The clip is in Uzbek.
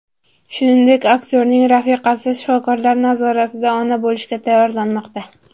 Shuningdek, aktyorning rafiqasi shifokorlar nazoratida ona bo‘lishga tayyorlanmoqda.